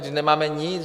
Vždyť nemáme nic.